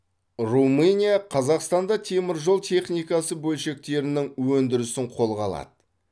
румыния қазақстанда теміржол техникасы бөлшектерінің өндірісін қолға алады